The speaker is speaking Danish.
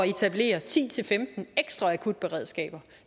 etablere ti til femten ekstra akutberedskaber